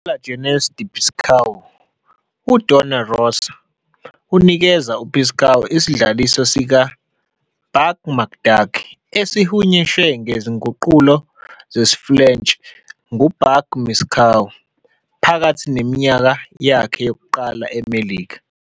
KuLa Jeunesse de Picsou, uDon Rosa unikeza uPicsou isidlaliso sikaBuck McDuck, esihunyushwe ngezinguqulo zesiFulentshi nguBuck Picsou, phakathi neminyaka yakhe yokuqala eMelika.